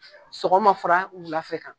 Sɔgɔma fɔra' wula fɛ kan.